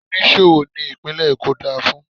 Oníṣòwò ni ìpínlè Èkó dá a fún.